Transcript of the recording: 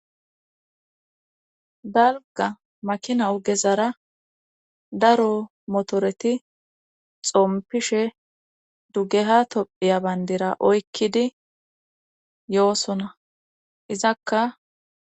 Dalga makina ogezara daro motoreti xompishe dugeha tophiya bayndira oykkidi yoosona izakka.